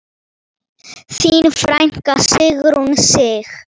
Þín frænka Sigrún Sig.